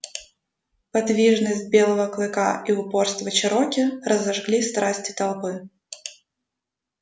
подвижность белого клыка и упорство чероки разожгли страсти толпы